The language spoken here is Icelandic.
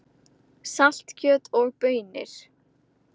Saltkjöt og baunir